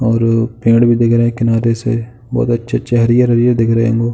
और पेड़ भी दिख रहे हैं किनारे से बोहोत अच्छे-अच्छे हरियर -हरियर दिख रहे होगो।